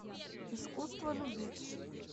искусство любить